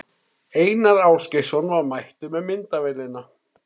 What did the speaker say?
Einar Ásgeirsson var mættur með myndavélina.